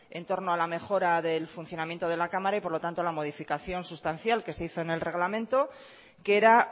en torno a la mejora del funcionamiento de la cámara y por lo tanto a la modificación sustancial que se hizo en el reglamento que era